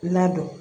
Ladon